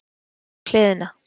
Leggst á hliðina.